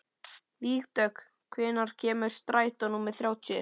Vígdögg, hvenær kemur strætó númer þrjátíu?